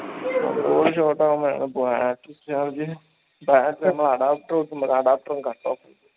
A body short ആവുമ്പോഴാണ് battery charge ൽ നമ്മൾ adapter വെക്കുമ്പോ adapter ഉ